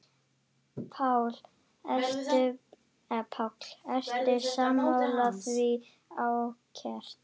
Páll: Ertu sammála því, Ásgeir?